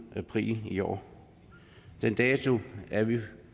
april i år den dato er vi